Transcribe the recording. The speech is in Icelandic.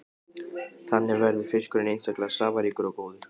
Þannig verður fiskurinn einstaklega safaríkur og góður.